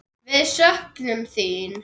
Við söknum þín.